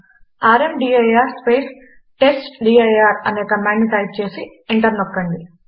rmdir space testdir అనే కమాండును type చేసి ఎంటర్ నొక్కండి